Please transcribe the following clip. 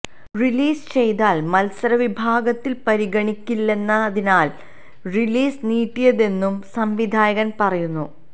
release ചെയ്താല് മത്സര വിഭാഗത്തില് പരിഗണിക്കില്ലെന്നതിനാലാണ് റിലീസ് നീട്ടിയതെന്നും സംവിധായകന് പറയുന്നു